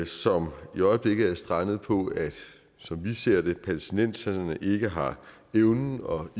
som i øjeblikket er strandet på som vi ser det at palæstinenserne ikke har evnen og